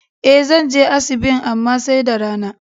E, zan je asibin amma sai da rana.